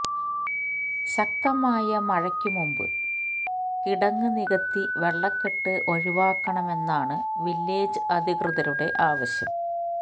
ശക്തമായ മഴയ്ക്ക് മുമ്പ് കിടങ്ങ് നികത്തി വെള്ളക്കെട്ട് ഒഴിവാക്കണമെന്നാണ് വില്ലേജ് അധികൃതരുടെ ആവശ്യം